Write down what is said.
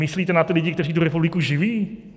Myslíte na ty lidi, kteří tu republiku živí?